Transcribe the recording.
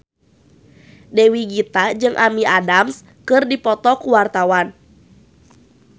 Dewi Gita jeung Amy Adams keur dipoto ku wartawan